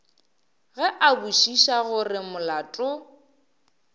ge a botšiša gore molato